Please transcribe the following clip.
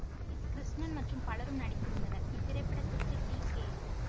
S Krishnan மற்றும் பலரும் நடித்திருந்தனர் இத்திரைப்படத்திற்கு டி கே